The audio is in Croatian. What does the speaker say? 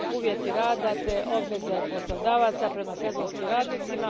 uvjeta rada te obveze poslodavaca prema sezonskim radnicima.